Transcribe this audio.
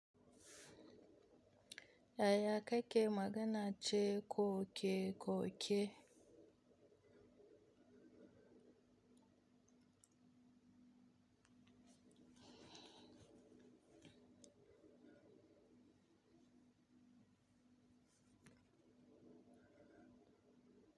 Yaya kake magana ce koke-koke?